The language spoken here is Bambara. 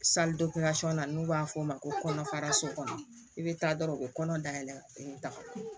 na n'u b'a fɔ o ma ko kɔnɔfara so kɔnɔ i bɛ taa dɔrɔn u bɛ kɔnɔ dayɛlɛ o ye dafa ye